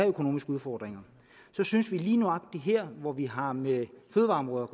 økonomiske udfordringer lige nøjagtig her hvor vi har med fødevareområdet